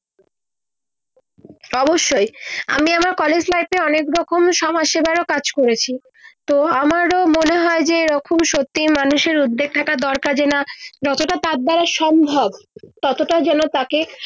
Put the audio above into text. অবশ্যই আমি আমার collage life অনেক রকম সমাজ সেবার ও কাজ করেছি তো আমরাও মনে হয় যে এই রকম সত্যি মানুষ উদ্যেগ থাকা দরকার যে না যত টা তার দ্বারা সম্ভব তত টা যেন তাকে